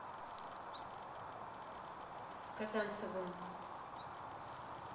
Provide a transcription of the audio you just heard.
казанцевым